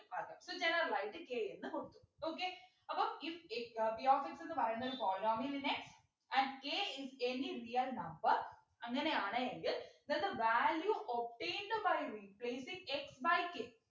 ആകാ so general ആയിട്ട് k എന്ന് കൊടുത്തു okay അപ്പൊ if x ഏർ p of എന്ന് പറയുന്ന ഒരു polynomial നെ at a is any real number അങ്ങനെയാണ് എങ്കിൽ then the value obtained by replacingx by k